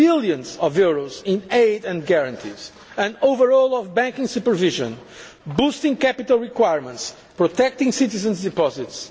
end billions of euros in aid and guarantees an overhaul of banking supervision, boosting capital requirements and protecting citizens' deposits.